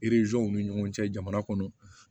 w ni ɲɔgɔn cɛ jamana kɔnɔ